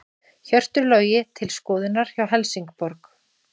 Hjörtur Logi til skoðunar hjá Helsingborg